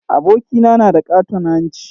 Abokina na da ƙaton hanci